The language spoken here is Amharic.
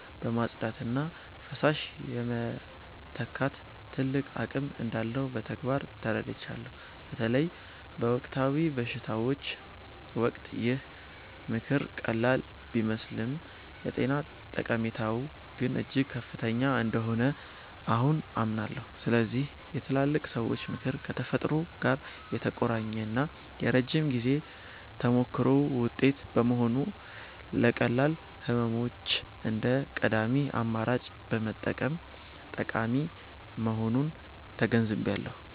የማጽዳትና ፈሳሽ የመተካት ትልቅ አቅም እንዳለው በተግባር ተረድቻለሁ። በተለይ በወቅታዊ በሽታዎች ወቅት ይህ ምክር ቀላል ቢመስልም የጤና ጠቀሜታው ግን እጅግ ከፍተኛ እንደሆነ አሁን አምናለሁ። ስለዚህ የትላልቅ ሰዎች ምክር ከተፈጥሮ ጋር የተቆራኘና የረጅም ጊዜ ተሞክሮ ውጤት በመሆኑ፣ ለቀላል ህመሞች እንደ ቀዳሚ አማራጭ መጠቀም ጠቃሚ መሆኑን ተገንዝቤያለሁ።